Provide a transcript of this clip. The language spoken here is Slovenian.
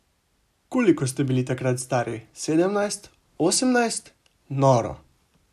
Koliko ste bili takrat stari, sedemnajst, osemnajst, noro.